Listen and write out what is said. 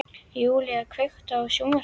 Júlína, kveiktu á sjónvarpinu.